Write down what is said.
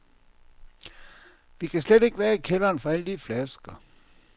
Vi kan slet ikke være i kælderen for alle de flasker.